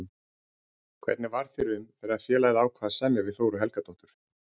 Hvernig varð þér um þegar félagið ákvað að semja við Þóru Helgadóttur?